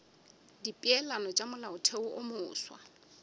dipeelano tša molaotheo wo mofsa